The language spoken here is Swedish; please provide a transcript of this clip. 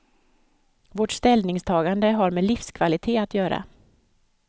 Vårt ställningstagande har med livskvalitet att göra.